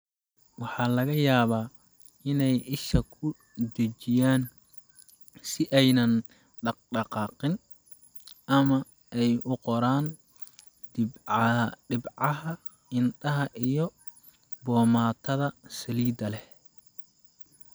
Waxa laga yaabaa inay isha ku dhejiyaan si aanay u dhaqdhaqaaqin, ama ay u qoraan dhibcaha indhaha iyo boomaatada saliidda leh